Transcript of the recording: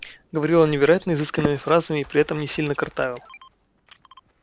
говорил он невероятно изысканными фразами и при этом не сильно картавил